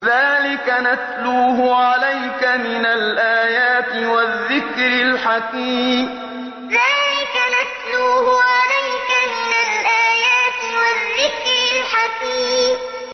ذَٰلِكَ نَتْلُوهُ عَلَيْكَ مِنَ الْآيَاتِ وَالذِّكْرِ الْحَكِيمِ ذَٰلِكَ نَتْلُوهُ عَلَيْكَ مِنَ الْآيَاتِ وَالذِّكْرِ الْحَكِيمِ